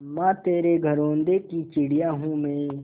अम्मा तेरे घरौंदे की चिड़िया हूँ मैं